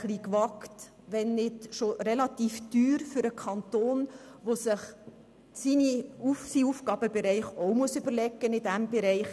Es ist auch relativ teuer für den Kanton, der sich seinen Aufgabenbereich auch überlegen muss.